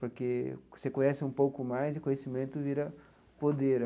Porque você conhece um pouco mais e conhecimento vira poder.